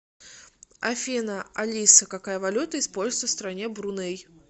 афина алиса какая валюта используется в стране бруней